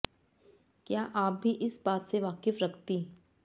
क्या आप भी इस बात से वाकिफ रखती